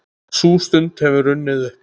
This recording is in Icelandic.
Sú stund hefur runnið upp.